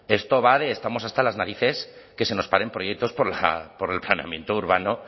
esto va de estamos hasta las narices de que se nos paren proyectos por el planeamiento urbano